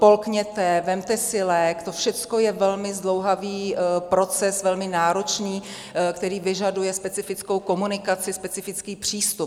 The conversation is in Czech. Polkněte, vezměte si lék, to všechno je velmi zdlouhavý proces, velmi náročný, který vyžaduje specifickou komunikaci, specifický přístup.